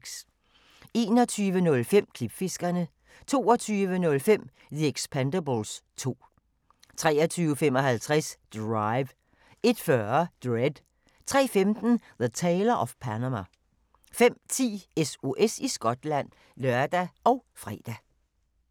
21:05: Klipfiskerne 22:05: The Expendables 2 23:55: Drive 01:40: Dredd 03:15: The Tailor of Panama 05:10: SOS i Skotland (lør og fre)